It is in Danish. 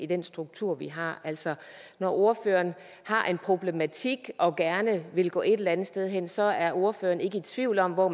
den struktur vi har altså når ordføreren har en problematik og gerne vil gå et eller andet sted hen så er ordføreren ikke tvivl om hvor